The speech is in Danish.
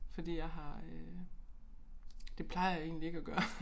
Fordi jeg har øh det plejer jeg egentlig ikke at gøre